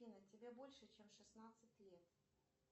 афина тебе больше чем шестнадцать лет